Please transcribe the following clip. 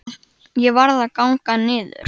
Ég varð að ganga niður